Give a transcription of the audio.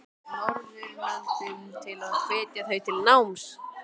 Norðurlöndunum til að hvetja þau til náms?